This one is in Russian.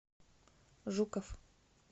жуков